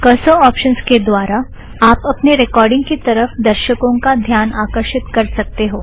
cursor options के द्वारा आप अपने रेकॉर्ड़िंग की तरफ़ दर्शकों का ध्यान आकरशीत कर सकते हो